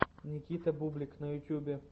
никита бублик на ютубе